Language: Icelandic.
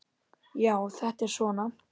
Já, þetta er svona.